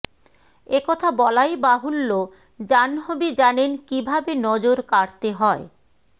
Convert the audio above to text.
একথা বলাই বাহুল্য জাহ্নবী জানেন কীভাবে নজর কাড়তে হয়